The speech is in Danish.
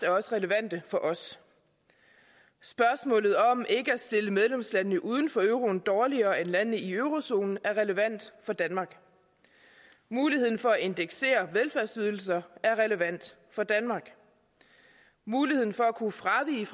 er også relevante for os spørgsmålet om ikke at stille medlemslandene uden for euroen dårligere end landene i eurozonen er relevant for danmark muligheden for at indeksere velfærdsydelser er relevant for danmark muligheden for at kunne fravige